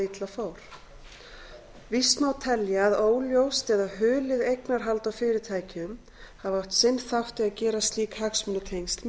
illa fór víst má telja að óljóst eða hulið eignarhald á fyrirtækjum hafi átt sinn þátt í að gera slík hagsmunatengsl